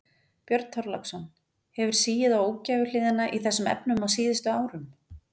Björn Þorláksson: Hefur sigið á ógæfuhliðina í þessum efnum á síðustu árum?